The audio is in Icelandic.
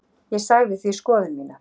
Ég sagði því skoðun mína.